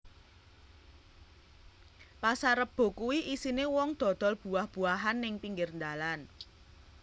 Pasar Rebo kui isine wong dodol buah buahan ning pinggir ndalan